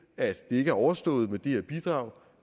at det ikke er overstået med det her bidrag